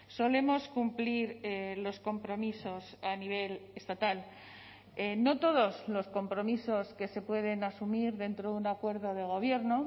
solemos cumplir los compromisos a nivel estatal no todos los compromisos que se pueden asumir dentro de un acuerdo de gobierno